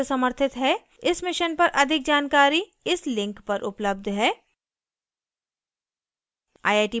इस mission पर अधिक जानकारी इस link पर उपलब्ध है